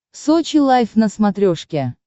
сочи лайв на смотрешке